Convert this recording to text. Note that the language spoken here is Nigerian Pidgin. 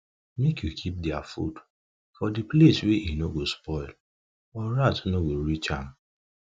make u keep their food for the place wa eno go spoil or rat no go reach am